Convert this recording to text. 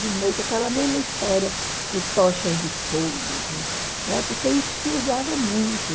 De noite, aquela mesma história com tochas de fogo, com... né, porque isso se usava muito.